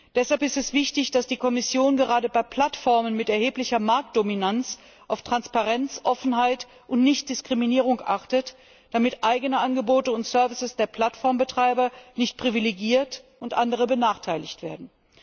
Deshalb ist es wichtig, dass die Kommission gerade bei Plattformen mit erheblicher Marktdominanz auf Transparenz, Offenheit und Nichtdiskriminierung achtet, damit eigene Angebote und Dienst der Plattformbetreiber nicht privilegiert und andere benachteiligt werden.